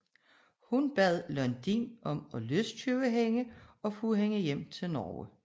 Hun bad Lodin om at løskøbe hende og få hende hjem til Norge